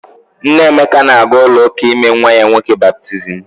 Nne Emeka na-aga ụlọụka ime nwa ya nwoke baptizim.